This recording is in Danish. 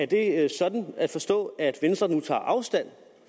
det sådan at forstå at venstre nu tager afstand